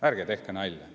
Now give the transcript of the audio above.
Ärge tehke nalja!